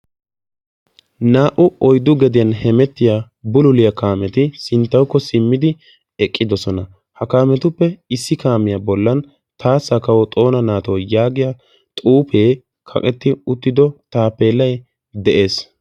naa"u oyddu gediyan hemettiya bululiya kaameti sinttawukko simmidi eqqidosona. ha kaametuppe issi kaamiya bollan taassa kawo xoona naatoo yaagiya xuufee kaqetti uttido tapellay de'es.